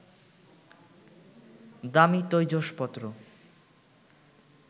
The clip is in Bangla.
দামি তৈজসপত্র